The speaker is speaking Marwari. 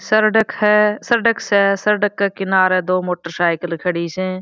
सरडक है सरडक स सरडक के किनारे दो मोटर साइकिल खड़ी स।